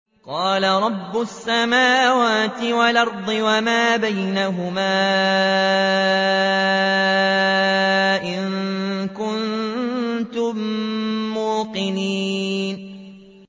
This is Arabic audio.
قَالَ رَبُّ السَّمَاوَاتِ وَالْأَرْضِ وَمَا بَيْنَهُمَا ۖ إِن كُنتُم مُّوقِنِينَ